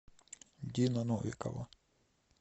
дина новикова